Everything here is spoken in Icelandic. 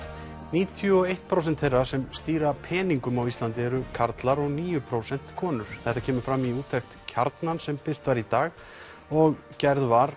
níutíu og eitt prósent þeirra sem stýra peningum á Íslandi eru karlar og níu prósent konur þetta kemur fram í úttekt Kjarnanas sem birt var í dag og gerð var